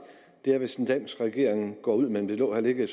er hvis en dansk regering går ud men det lå heller ikke i